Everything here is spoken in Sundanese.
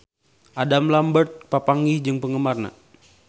Adam Lambert papanggih jeung penggemarna